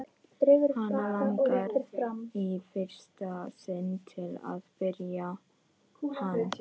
Hana langar í fyrsta sinn til að berja hann.